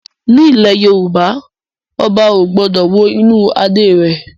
Ní ilẹ̀ Yorùbá, Ọba ò gbọ́dọ̀ wo inú Adé rẹ̀